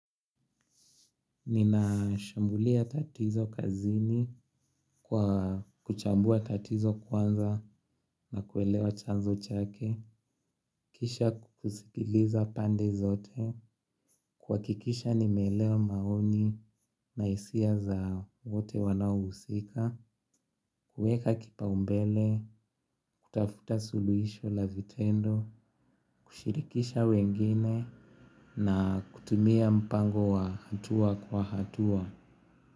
Ninashambulia tatizo kazini, kwa kuchambua tatizo kwanza na kuelewa chanzo chake. Kisha kusikiliza pande zote. Kuhakikisha nimeelewa maoni na hisia za wote wanaohusika. Kueka kipaumbele, kutafuta suluhisho la vitendo. Kushirikisha wengine na kutumia mpango wa hatua kwa hatua.